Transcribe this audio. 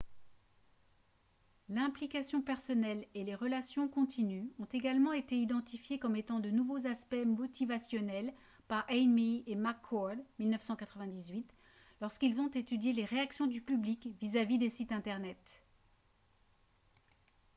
« l’implication personnelle » et « les relations continues » ont également été identifiées comme étant de nouveaux aspects motivationnels par eighmey et mccord 1998 lorsqu’ils ont étudié les réactions du public vis-à-vis des sites internet